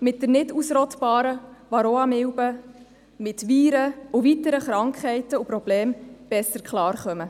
mit der nicht ausrottbaren Varroamilbe, mit Viren und weiteren Krankheiten und Problemen besser klarkommen.